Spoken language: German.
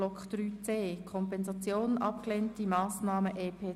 3.c Kompensation abgelehnte Massnahmen EP 2018